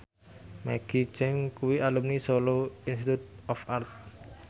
Maggie Cheung kuwi alumni Solo Institute of Art